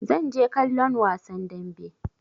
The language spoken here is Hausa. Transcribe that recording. Zan je kallon wasan damben.